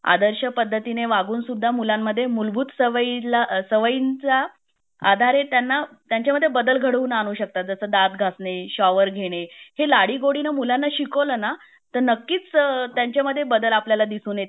आदर्श पद्धतीने वागून सुद्धा मुलांमध्ये मूलभूत सवयी ला सवयींच्या आधारे त्यांना त्यांचामध्ये बदल घडाउनानू शकतात जस दांत घासणे , शॉवर घेणे , हे लडी गोडी णे मुलांना शिकवलं ना तर नक्कीच अ त्यांचामध्ये बदल आपल्याला दिसून येतील आणि